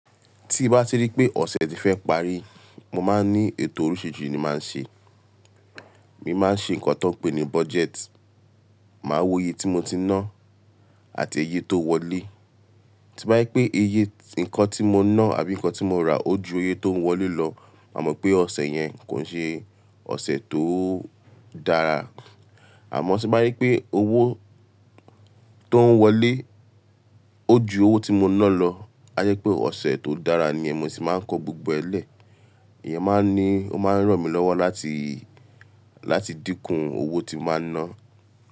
Tí bá ti rí pé ọ̀sẹ̀ ti fẹ́ parí, mo máa ń ní ètò oríṣiríṣi ni máa ń ṣe. Emii máa ń ṣe nǹkan tó ń pè ní budget. Máa wo iye tí mo ti ná àti iye tó ń wọlé. Tí bá yí pé iye nǹkan tí mo ná àbí nǹkan tí mo rà ó ju iye tó ń wọlé lọ, màá mọ̀ pé ọ̀sẹ̀ yẹn kò ń ṣe ọ̀sẹ̀ tó dára. Àmọ́ tí bá yí pé owó tó ń wọlé ó ju owó tí mo ná lọ, a jẹ́ pé ọ̀sẹ̀ tó dára ni, ẹni èmi sì máa ń kọ gbogbo ẹlẹ́. Ìyẹn máa ń ní, ó máa ń ràn mí lọ́wọ́ láti, láti dínkù owó tí máa ná.